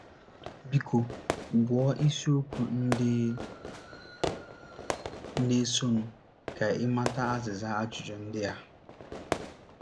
Biko, gụọ isiokwu ndị na - esonụ ka ị mata azịza ajụjụ ndị a.